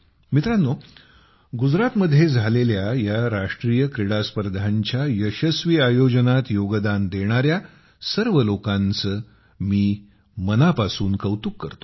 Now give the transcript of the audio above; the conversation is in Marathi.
मित्रांनो गुजरातमध्ये झालेल्या या राष्ट्रीय क्रीडा स्पर्धांच्या यशस्वी आयोजनात योगदान देणाऱ्या सर्व लोकांचे मी मनापासून कौतुक करतो